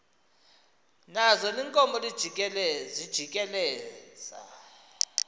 nazo iinkomo zijikeleza